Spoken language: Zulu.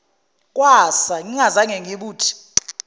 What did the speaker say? kwasa ngingazange ngibuthi